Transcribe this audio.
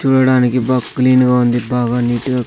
చూడడానికి బాగ్ క్లీన్ గా ఉంది బాగా నీట్ గా--